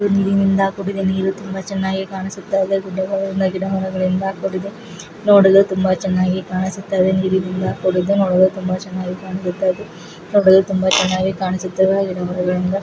ನೀರಿನಿಂದ ಕೂಡಿದೆ ನೀರು ತುಂಬಾ ಚೆನ್ನಾಗಿ ಕಾಣಿಸ್ತಾ ಇದೆ ಗುಡ್ಡಗಳಿಂದ ಗಿಡಮರಗಳಿಂದ ಕೂಡಿದೆ ನೋಡಲು ತುಂಬಾ ಚೆನ್ನಾಗಿ ಕಾಣಿಸುತ್ತಾ ಇದೆ ನೀರಿನಿಂದ ಕೂಡಿದೆ ನೋಡಲು ತುಂಬಾ ಚೆನ್ನಾಗಿ ಕಾಣಿಸುತ್ತಾ ಇದೆ ನೋಡಲುತುಂಬಾ ಚೆನ್ನಾಗಿ ಕಾಣಿಸುತ್ತಾ ಇದೆ ಗಿಡಮರಗಳಿಂದ --